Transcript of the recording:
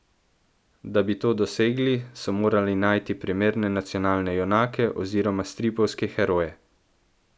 Da bi to dosegli, so morali najti primerne nacionalne junake oziroma stripovske heroje.